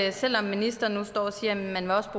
at selv om ministeren nu står og siger at man også